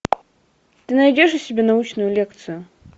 ты найдешь у себя научную лекцию